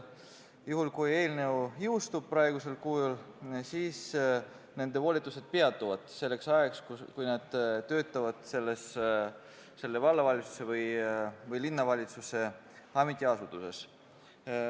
Juhul kui eelnõu jõustub praegusel kujul, siis nende volitused peatuvad selleks ajaks, kui nad töötavad vallavalitsuse või linnavalitsuse ametiasutuses.